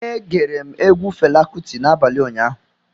E gere m egwu Fela Kuti n'abalị ụnyaahụ